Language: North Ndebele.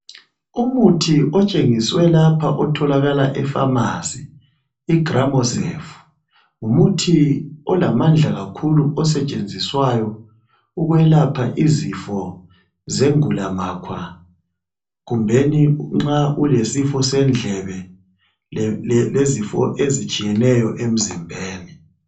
Umuthi otshengiswe lapha otholakala epharmarcy iGramocel ngumuthi olamandla kakhulu osetshenziswa ukulapha izifo zengulamakhwa kumbeni nxa ulesifo sendlebe kumbe izifo ezitshiyeneyo emzimbeni.